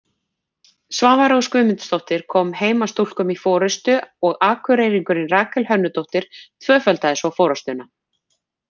Svava Rós Guðmundsdóttir kom heimastúlkum í forystu og Akureyringurinn Rakel Hönnudóttir tvöfaldaði svo forystuna.